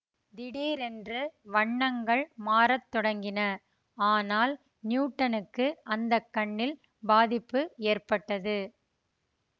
திடீரென்று வண்ணங்கள் மாறத்தொடங்கின ஆனால் நியூட்டனுக்கு அந்த கண்ணில் பாதிப்பு ஏற்பட்டது